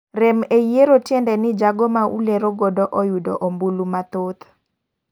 Rem e yiero tiende ni jago ma ulero godo oyudo ombulu mathoth .